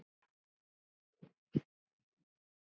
Eyrun eilítið útstæð.